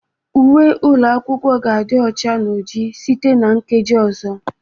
Uwe ụlọ akwụkwọ ga-adị ọcha na oji site na nkeji ọzọ